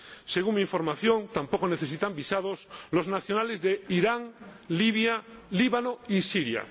Según mi información, tampoco necesitan visados los nacionales de Irán, Libia, el Líbano y Siria.